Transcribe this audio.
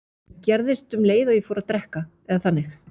Það gerðist um leið og ég fór að drekka, eða þannig.